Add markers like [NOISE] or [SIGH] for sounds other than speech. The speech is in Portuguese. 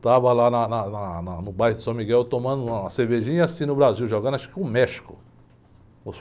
Eu estava lá na, na, na, no bairro de [UNINTELLIGIBLE] tomando uma cervejinha e assistindo o Brasil, jogando, acho que com o México.